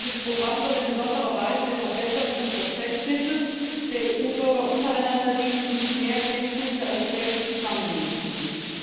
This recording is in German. Dieses Programm soll in besonderer Weise der Verbesserung des Verständnisses der EU Bürger untereinander dienen und zu mehr Kenntnis der europäischen Zusammenhänge führen.